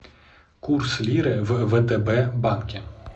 курс лиры в втб банке